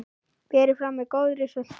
Berið fram með góðri sultu.